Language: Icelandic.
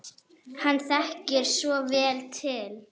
Hann þekkir svo vel til.